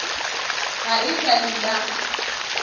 ga e sa le la